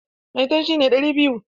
Maitan shi ne ɗari biyu.